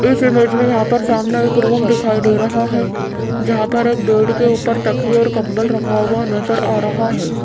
इस इमेज में यहां पर सामने एक रूम दिखाई दे रहा है जहां पर एक बेड के ऊपर तकिए और कंबल रखा हुआ नजर आ रहा है।